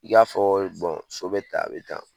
I y'a fɔ so be taan a be tan .